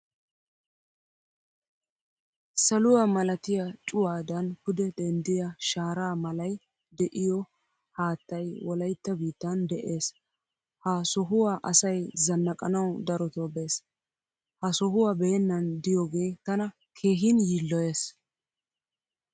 Saluwaa milattiya cuwadan pude denddiya shaara malay de'iyo haattay wolaytta biittan de'ees. Ha sohuwaa asay zannaqqanawu darotto bees. Ha sohuwaa beenan diyoge tana keehin yiiloyees.